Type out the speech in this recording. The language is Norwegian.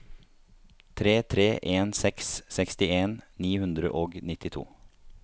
tre tre en seks sekstien ni hundre og nittito